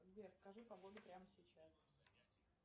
сбер скажи погоду прямо сейчас